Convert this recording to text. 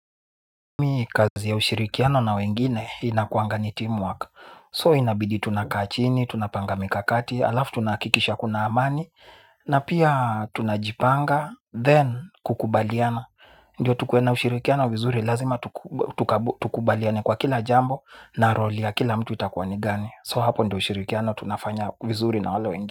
Kazi ya ushirikiano na wengine inakuangani teamwork. So inabidi tunakachini, tunapanga mikakati. Alafu tunakikisha kuna amani. Na pia tunajipanga. Then kukubaliana. Ndiyo tukuwe na ushirikiano vizuri. Lazima tukubaliane kwa kila jambo. Na role ya kila mtu itakuanigani. So hapo ndio ushirikiano. Tunafanya vizuri na wale wengine.